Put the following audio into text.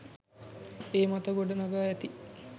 ඒ මත ගොඩ නගා ඇති